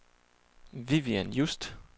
Vivian Just